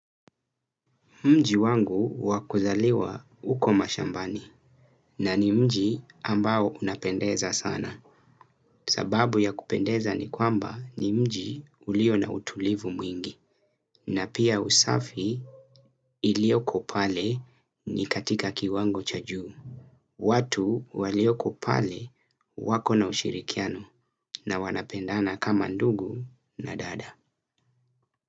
Mji wangu wa kuzaliwa uko mashambani na ni mji ambao unapendeza sana. Sababu ya kupendeza ni kwamba ni mji ulio na utulivu mwingi. Na pia usafi ilioko pale ni katika kiwango cha juu. Watu walioko pale wakona ushirikiano na wanapendana kama ndugu na dada.